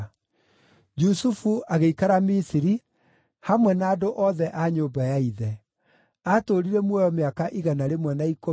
Jusufu agĩikara Misiri, hamwe na andũ othe a nyũmba ya ithe. Aatũũrire muoyo mĩaka igana rĩmwe na ikũmi,